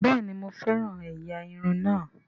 Bẹ́ẹ̀ni mo fẹ́ràn ẹ̀yà irun náà